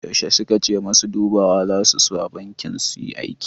Yaushe suka ce masu dubawa zasu zo banki suyi aiki?